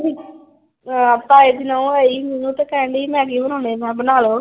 ਆ ਤਾਏ ਦੀ ਨੂੰਹ ਆਈ ਸੀ ਤੇ ਉਹ ਕਹਿਣ ਡਈ ਮੈਗੀ ਬਣਾਉਂਦੇ। ਮੈਂ ਕਿਹਾ ਬਣਾ ਲੋ।